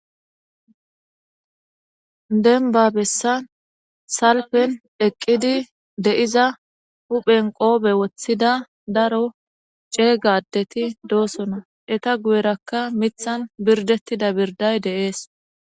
Dembba bessan salppen ekidi di'za huphen Kobe woththida daro cegga adeti de'osona eta guyerakka miththan birddetida birdayka de'es.